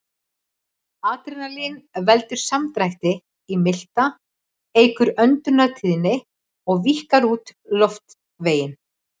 Adrenalín veldur samdrætti í milta, eykur öndunartíðni og víkkar út loftveginn.